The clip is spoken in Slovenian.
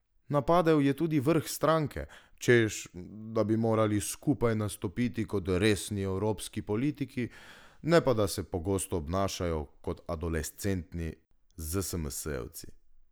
Napadel je tudi vrh stranke, češ da bi morali skupaj nastopiti kot resni evropski politiki, ne pa da se pogosto obnašajo kot adolescentni zsmsjevci.